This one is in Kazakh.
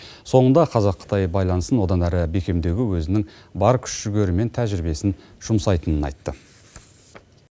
соңында қазақ қытай байланысын одан әрі бекемдеуге өзінің бар күш жігері мен тәжірибесін жұмсайтынын айтты